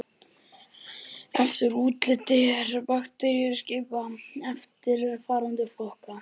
Eftir útliti er bakteríum skipt í eftirfarandi flokka